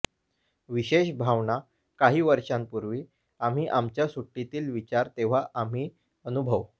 विशेष भावना काही वर्षांपूर्वी आम्ही आमच्या सुट्टीतील विचार तेव्हा आम्ही अनुभव